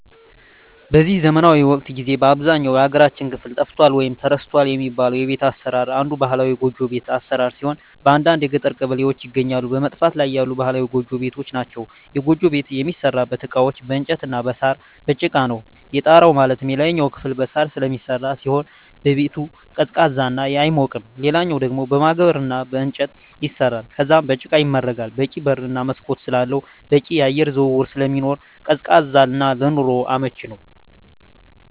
በዚህ ዘመናዊ ወቅት ጊዜ በአብዛኛው የሀገራችን ክፍል ጠፍቷል ወይም ተረስቷል የሚባለው የቤት አሰራር አንዱ ባህላዊ ጎጆ ቤት አሰራር ሲሆን በአንዳንድ የገጠር ቀበሌዎች ይገኛሉ በመጥፋት ላይ ያሉ ባህላዊ ጎጆ ቤቶች ናቸዉ። የጎጆ ቤት የሚሠሩበት እቃዎች በእንጨት እና በሳር፣ በጭቃ ነው። የጣራው ማለትም የላይኛው ክፍል በሳር ስለሚሰራ ሲሆን ቤቱ ቀዝቃዛ ነው አይሞቅም ሌላኛው ደሞ በማገር እና በእንጨት ይሰራል ከዛም በጭቃ ይመረጋል በቂ በር እና መስኮት ስላለው በቂ የአየር ዝውውር ስለሚኖር ቀዝቃዛ እና ለኑሮ አመቺ ነው።